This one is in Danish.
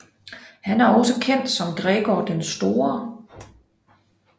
Han er også kendt som Gregor den Store